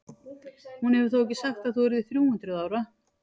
Hún hefur þó ekki sagt að þú yrðir þrjú hundruð ára?